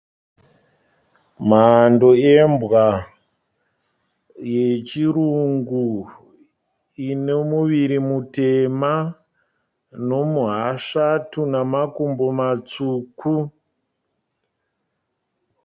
Mhando yembwa yechirungu ine muviri mutema nomuhasvatu nemakumbo matsvuku